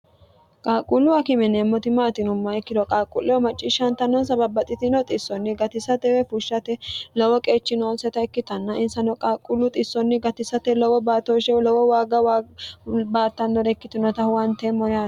qaaqquulluwa kimineemmoti maatinumma ikkiro qaaqquullewo macciishshaantannon sababba xitino xissonni gatisatewe fushshate lowo qeechinoonseta ikkitanna insano qaaqquullu xissonni gatisate lowo baatooshshewu lowo waagga baattannore ikkitinota huwanteemmone yare